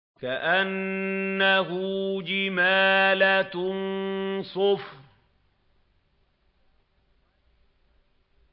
كَأَنَّهُ جِمَالَتٌ صُفْرٌ